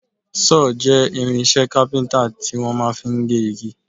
Sọ́ọ̀ jẹ́ irinṣẹ́ kápíntà tí wọ́n máa fi ń gé igi